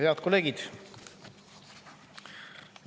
Head kolleegid!